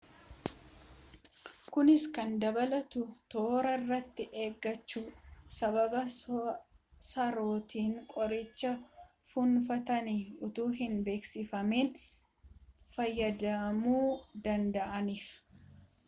kunis kan dabalatu toora irratti eeggachuu sababa sarootni qoricha fuunfatan utuu hin beeksifamin fayyadamamuu danda'aniif